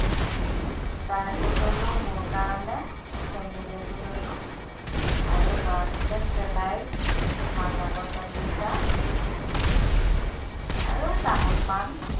জোতা এজোৰ ললোঁ মোৰ কাৰণে চেন্ডেল এজোৰ ললোঁ আৰু লৰাটোলে slice mazza bottle দুটা আৰু তামোল-পাণ